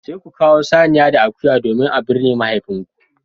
Sai ku kawo saniya da akuya domin a binne mahaifinku